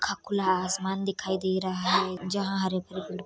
खा खुला आसमान दिखाई दे रहा है जहाँ हरे-भरे --